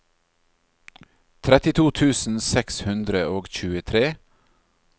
trettito tusen seks hundre og tjuetre